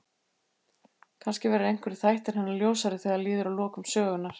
Kannski verða einhverjir þættir hennar ljósari þegar líður að lokum sögunnar.